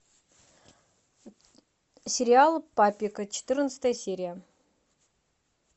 сериал папик четырнадцатая серия